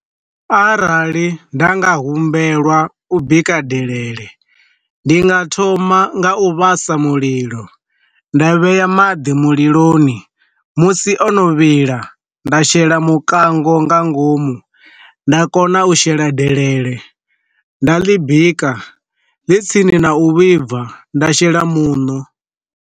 Arali nda nga humbelwa u bika delele, ndi nga thoma nga u vhasa mulilo, nda vhea maḓi muliloni musi ono vhila, nda shela mukango nga ngomu nda kona u shela delele nda ḽi bika ḽi tsini na u vhibva nda shela muṋo.